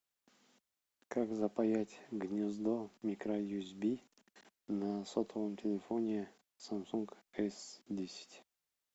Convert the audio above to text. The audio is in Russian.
как запаять гнездо микро юсб на сотовом телефоне самсунг с десять